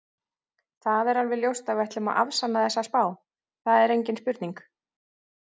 Það er alveg ljóst að við ætlum að afsanna þessa spá, það er engin spurning.